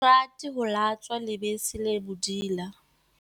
Ha ke rate ho latswa lebese le bodila.